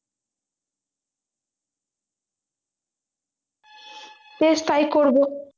বেশ তাই করবো